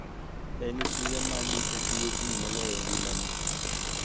Eni suya mani e duonig' moloyo e nigimanii?